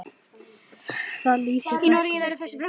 Það lýsir frænku vel.